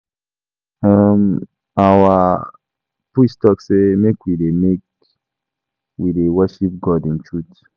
um Our priest talk say make we dey make we dey worship God in truth.